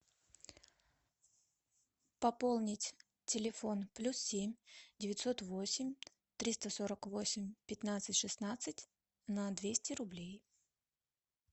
пополнить телефон плюс семь девятьсот восемь триста сорок восемь пятнадцать шестнадцать на двести рублей